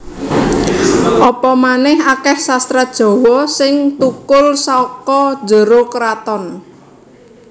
Apa manèh akèh sastra Jawa sing thukul saka njero kraton